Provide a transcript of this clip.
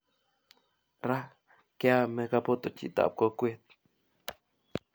Ra keame kopoto chitap kokwet